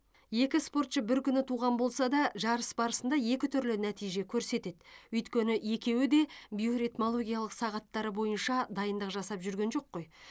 екі спортшы бір күні туған болса да жарыс барысында екі түрлі нәтиже көрсетеді өйткені екеуі де биоритмологиялық сағаттары бойынша дайындық жасап жүрген жоқ қой